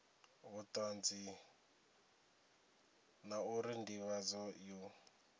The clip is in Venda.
vhutanzi la uri ndivhadzo yo